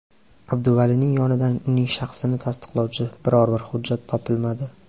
Abduvalining yonidan uning shaxsini tasdiqlovchi biror-bir hujjat topilmadi.